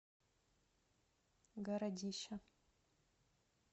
городища